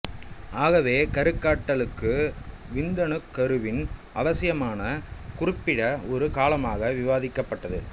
ஆகவே கருக்கட்டலுக்கு விந்தணுக் கருவின் அவசியமானது குறிப்பிட்ட ஒரு காலமாக விவாதிக்கப்பட்டது